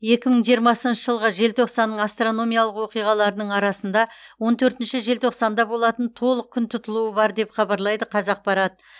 екі мың жиырмасыншы жылғы желтоқсанның астрономиялық оқиғаларының арасында он төртінші желтоқсанда болатын толық күн тұтылуы бар деп хабарлайды қазақпарат